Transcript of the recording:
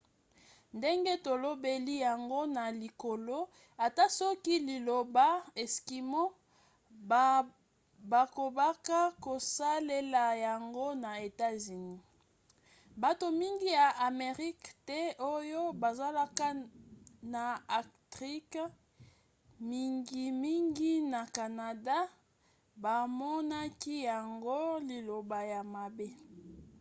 ndenge tolobeli yango na likolo ata soki liloba eskimo bakobaka kosalela yango na etats-unis bato mingi ya amerika te oyo bazalaka na arctique mingimingi na canada bamonaki yango liloba ya mabe